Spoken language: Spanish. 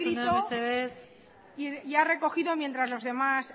lo que ha escrito y ha recogido mientras los demás